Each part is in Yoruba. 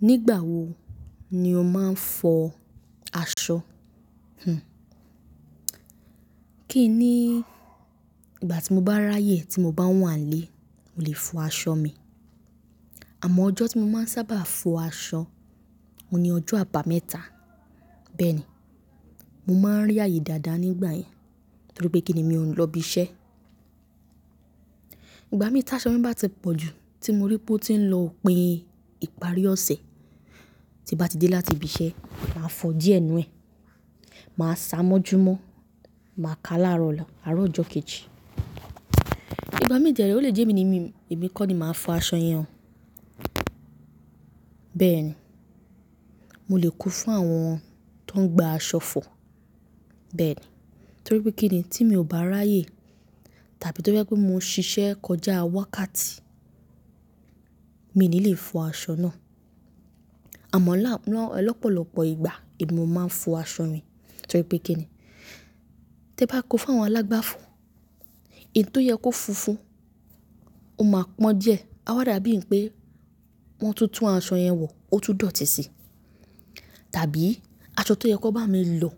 Nígbà wo ni o máa ń fọ aṣọ? Kìí ní ìgbà tí mo bá ráyè tí mo bá wà nílé, mo lè fọ aṣọ mi. Àmọ́ ọjọ́ tí mo máa ń sábà fọ aṣọ, òun ni ọjọ́ àbámẹ́ta. Bẹ́ẹ̀ ni, mo máa ń rí ààyè dáadáa nígbà yẹn, torí pé kì ní, mi ò lọ ibi iṣẹ́. Ìgbà mii ta aṣọ mi bá ti pọ̀ jù tí mo rí pé ó ti ń lọ òpin ìparí ọ̀sẹ̀, tí bá ti dé láti ibi iṣẹ́, màá fọ díẹ̀ nu ẹ. Màá ṣàmójúmọ́, màá ka láàárọ̀ ọ̀la, àárọ̀ ọjọ́ kejì. Ìgbà mii de rẹ̀ ó lè jẹ́ emi ní mi, èmi kọ́ ni màá fọ aṣọ yẹn. Bẹ́ẹ̀ ni, mo lè kó fún àwọn tó ń gba aṣọ fọ. Bẹ́ẹ̀ ni, torí pé kíni tí mo bá ráyè tàbí to jẹ pé mo ń ṣiṣẹ́ kọjá wákàtí, mi ò ní lè fọ aṣọ náà. Àmọ́ lọ́pọ̀lọpọ̀ ìgbà èmi mo máa ń fọ aṣọ mi torí pé kíni tẹ bá kó fún àwọn alágbàfọ̀, èyí tó yẹ kó funfun, ó máa pọ́n díẹ̀. A wà dàbí pé wọ́n ti tún aṣọ yẹn wọ̀, ó tún dọ̀tí sí. Tàbí aṣọ tó yẹ kó bá mi lọ̀,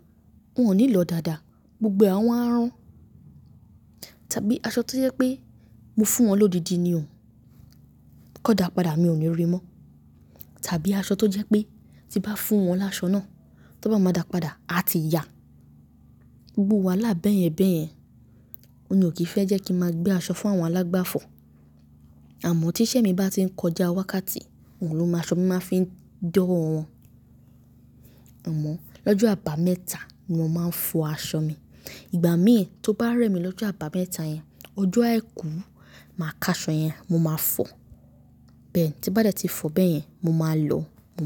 wọ́n ò ní lọ̀ dáadáa, gbogbo à wá run. Tàbí aṣọ tó jẹ pé mo fún wọn lọ́díndí ni o, kó dà padà mi ò ní rí mọ́. Tàbí aṣọ tó jẹ́ pé tí bá fún wọn láṣọ náà, tó bá máa dà padà, a ti ya. Gbogbo wàhálà bẹ́ẹ̀yẹn bẹ́ẹ̀yẹn, òun lo kì í fẹ́ jẹ́ kí n máa gbé aṣọ fún àwọn alágbàfọ̀. Àmọ́ tí iṣẹ́ mi bá ti ń kọjá wákàtí, òun lọ mọ aṣọ mi máa fi ń dọ́ wọ. Àmọ́ lọ́jọ́ àbámẹ́ta ni mo máa ń fọ aṣọ mi. Ìgbà mí tó bá rẹ́ mi lọ́jọ́ àbámẹ́ta yẹn, ọjọ́ àìkú, màá ka aṣọ yẹn, mo máa fọ. Bẹ́ẹ̀ tí bá dẹ́ ti fọ bẹ́ẹ̀ yẹn, mo máa lọ mu.